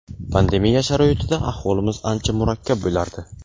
pandemiya sharoitida ahvolimiz ancha murakkab bo‘lardi.